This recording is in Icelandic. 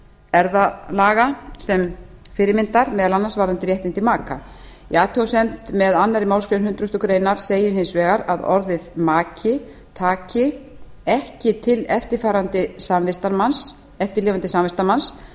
erfðalaga sem fyrirmyndar meðal annars varðandi réttindi maka í athugasemd með annarri málsgrein hundrað greinar segir hins vegar að orðið maki taki ekki til eftirlifandi samvistarmanns